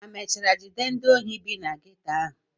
ha mechara jide ndị ohi bi na geto ahụ?